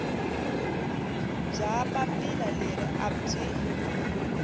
bya papila leri a byi